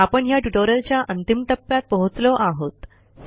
आपण ह्या ट्युटोरियलच्या अंतिम टप्प्यात पोहोचलो आहोत